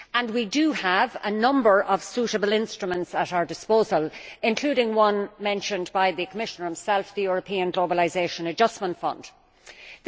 We do have a number of suitable instruments at our disposal, including one mentioned by the Commissioner himself the European Globalisation Adjustment Fund That